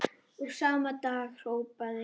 Og sama dag hrópaði